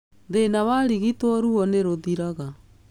Thĩna warigitwo ruo nĩ rũthiraga.